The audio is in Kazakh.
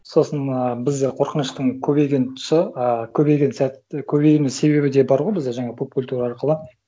сосын ы біз қорқыныштың көбейген тұсы ы көбейген сәт көбеюінің себебі де бар ғой бізде жаңағы поп культура арқылы